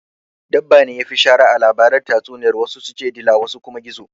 Dabbane yafi shara a labaran tatsuniyar wasu su ce dila wasu kuma gizo